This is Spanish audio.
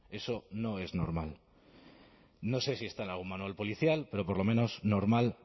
eso no es normal no sé si está en algún manual policial pero por lo menos normal